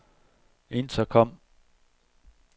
intercom